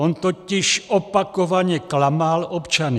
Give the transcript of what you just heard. On totiž opakovaně klamal občany.